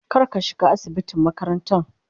kar ka shiga asibitin makarantan.